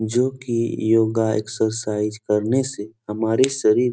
जोकि योगा एक्सरसाइज करने से हमारे शरीर --